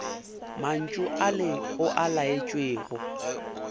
mantšu ale o a laetšwego